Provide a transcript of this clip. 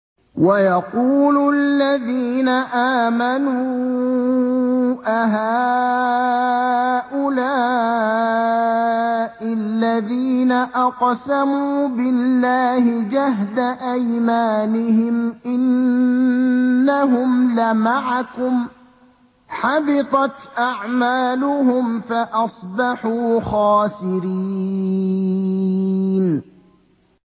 وَيَقُولُ الَّذِينَ آمَنُوا أَهَٰؤُلَاءِ الَّذِينَ أَقْسَمُوا بِاللَّهِ جَهْدَ أَيْمَانِهِمْ ۙ إِنَّهُمْ لَمَعَكُمْ ۚ حَبِطَتْ أَعْمَالُهُمْ فَأَصْبَحُوا خَاسِرِينَ